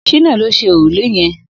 Shina ló ṣé órúlé yẹ̀n